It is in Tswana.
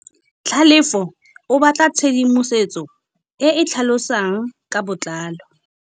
Tlhalefô o batla tshedimosetsô e e tlhalosang ka botlalô.